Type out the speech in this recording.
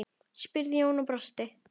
spurði Jón og brosti.